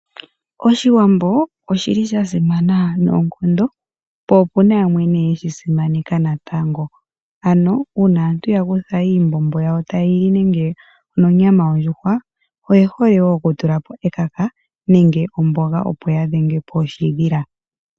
Oshiwambo oshili sha simana noonkondo, po opuna ne yamwe yeshi simaneka natango, uuna aantu yakutha iimbombo yawo ta ye yili nonyama yondjuhwa, oye hole wo oku tulapo ekaka nenge omboga opo ya dhengepo oshi dhila.